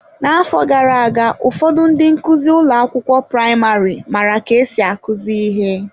N'afọ gara aga, ụfọdụ ndị nkuzi ụlọ akwụkwọ praịmarị maara ka esi akụzi ihe.